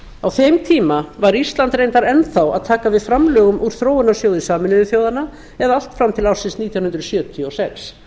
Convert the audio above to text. á þeim tíma var ísland reyndar enn þá að taka við framlögum úr þróunarsjóði sameinuðu þjóðanna eða allt fram til ársins nítján hundruð sjötíu og sex